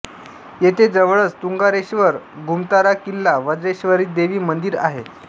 येथे जवळच तुंगारेश्वर गुमतारा किल्ला वज्रेश्वरी देवी मंदीर आहे